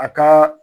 A ka